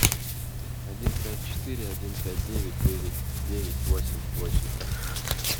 один пять четыре один пять девять девять девять восемь восемь